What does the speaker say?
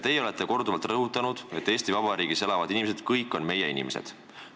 Teie olete korduvalt rõhutanud, et Eesti Vabariigis elavad inimesed on kõik meie inimesed.